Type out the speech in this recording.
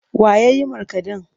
Wa ya yi markaɗen?